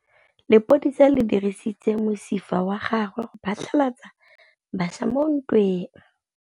Lepodisa le dirisitse mosifa wa gagwe go phatlalatsa batšha mo ntweng.